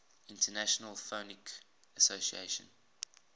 international phonetic association